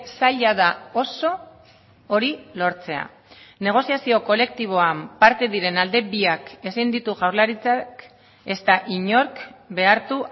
zaila da oso hori lortzea negoziazio kolektiboa parte diren alde biak ezin ditu jaurlaritzak ezta inork behartu